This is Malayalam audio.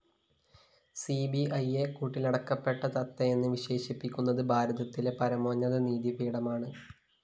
സിബിഐയെ കൂട്ടിലടക്കപ്പെട്ട തത്തയെന്ന് വിവക്ഷിക്കുന്നത് ഭാരതത്തിലെ പരമോന്നത നീതിപീഠമാണ്